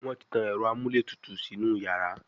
Wón tí tán Ẹ̀rọ amúlétutù sínú iyàrá.